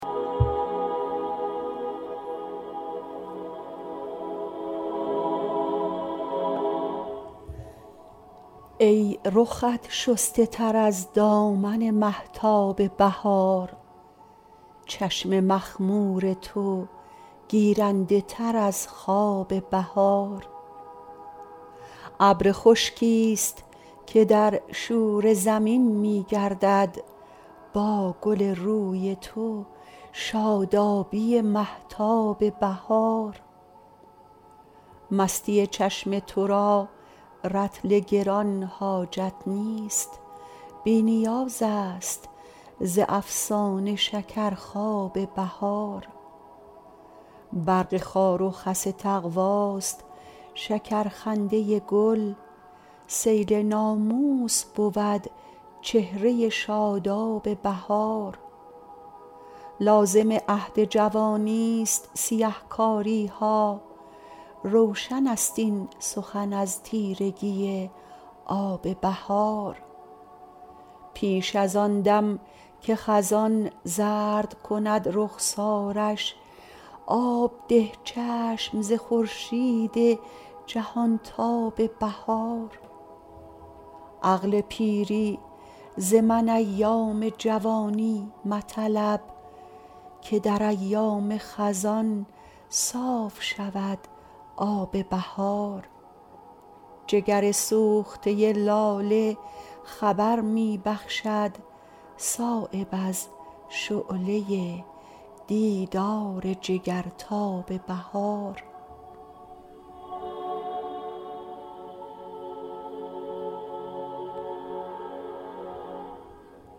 ای رخت شسته تر از دامن مهتاب بهار چشم مخمور تو گیرنده تر از خواب بهار ابر خشکی است که در شوره زمین می گردد باگل روی تو شادابی مهتاب بهار مستی چشم تورا رطل گران حاجت نیست بی نیازست ز افسانه شکر خواب بهار برق خاروخس تقوی است شکرخنده گل سیل ناموس بود چهره شاداب بهار لازم عهد جوانی است سیه کاریها روشن است این سخن از تیرگی آب بهار پیش ازان دم که خزان زرد کند رخسارش آب ده چشم ز خورشید جهانتاب بهار عقل پیری ز من ایام جوانی مطلب که در ایام خزان صاف شود آب بهار جگر سوخته لاله خبر می بخشد صایب ازشعله دیدار جگر تاب بهار